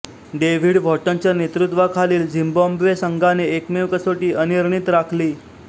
David हॉटनच्या नेतृत्वाखालील Zimbabwe संघाने एकमेव कसोटी अनिर्णित राखली